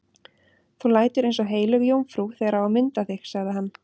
Þú lætur eins og heilög jómfrú þegar á að mynda þig, sagði hann.